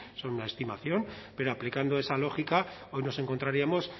son una estimación pero aplicando esa lógica hoy nos encontraríamos